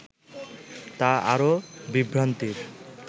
তা আরও বিভ্রান্তির